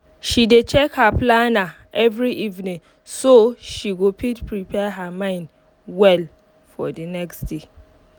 she dey check her planner every evening so she go fit prepare her mind well for the nxt day